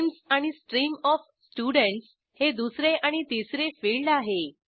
names आणि stream of students हे दुसरे आणि तिसरे फिल्ड आहे